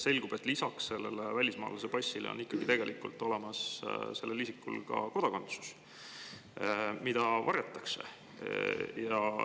Selgub, et lisaks välismaalase passile on osal nendel inimestel ikkagi tegelikult olemas ka kodakondsus, mida varjatakse.